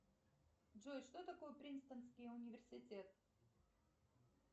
джой что такое принстонский университет